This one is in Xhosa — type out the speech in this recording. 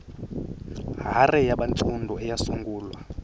hare yabantsundu eyasungulwa